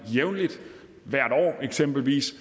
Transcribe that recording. jævnligt eksempelvis